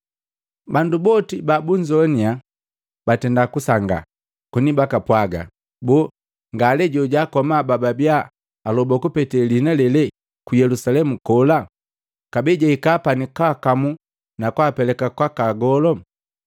Bandu boti babunzowanya batenda kunsanga, koni bakapwaga, “Boo, ngale jojaakoma bababia aloba kupete liina lele ku Yelusalemu kola? Kabee jahika pani kwaakamu na kwaapeleka kwaka agolu!”